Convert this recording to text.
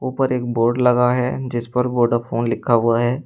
ऊपर एक बोर्ड लगा है जिस पर वोडाफोन लिखा हुआ है।